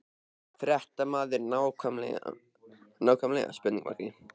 Fréttamaður: Nákvæmlega?